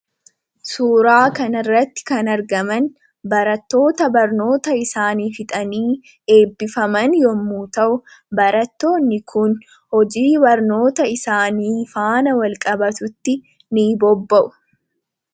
Suuraa kana irratti kan argaman barattoota barnoota isaanii fixanii eebbifaman yommuu ta'u barattoonni kun hojii barnoota isaanii faana wal qabatutti ni bobba'u.